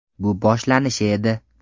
Bu boshlanishi edi.